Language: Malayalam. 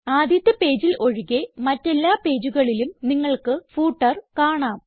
ആദ്യത്തെ പേജിൽ ഒഴികെ മറ്റെല്ലാ പേജുകളിലും നിങ്ങൾക്ക് ഫൂട്ടർ കാണാം